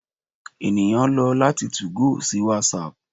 eniyan lọ lati 2go si whatsapp